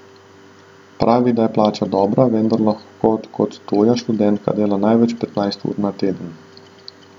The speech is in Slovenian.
Pravi, da je plača dobra, vendar lahko kot tuja študentka dela največ petnajst ur na teden.